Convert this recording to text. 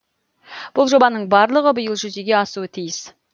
бұл жобаның барлығы биыл жүзеге асуы тиіс